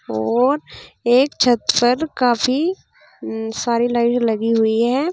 और एक छत पर काफी सारी लगी हुई हैं।